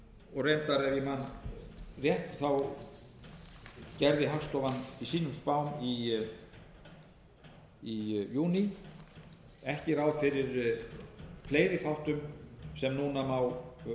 við einstök stóriðjuverkefni reyndar ef ég man rétt gerði hagstofan í sínum spám í júní ekki ráð fyrir fleiri þáttum sem núna má augljóslega